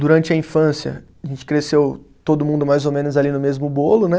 Durante a infância, a gente cresceu todo mundo mais ou menos ali no mesmo bolo, né?